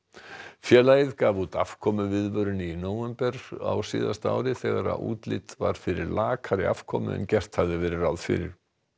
félagið gaf út afkomuviðvörun í nóvember á síðasta ári þegar útlit var fyrir lakari afkomu en gert hafði verið ráð fyrir